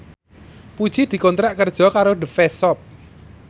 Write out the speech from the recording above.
Puji dikontrak kerja karo The Face Shop